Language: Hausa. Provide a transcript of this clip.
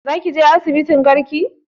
Za ka je asibitin garki?